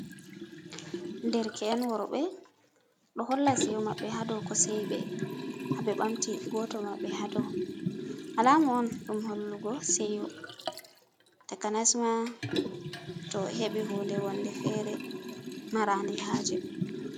Derke’en worɓe ɗo holla seyo maɓɓe haa dou ko seyi ɓe. Haa ɓe bamti goto maɓɓe haa dou. Alama on ɗum hollugo seyo takanas ma to o heɓi hunde wonde fere marande haaje.